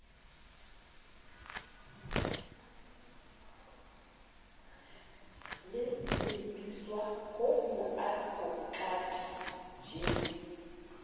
le lebiswa ho moadvokate j